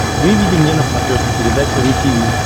выведи мне на смотрешке передачу ру ти ви